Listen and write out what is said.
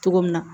Cogo min na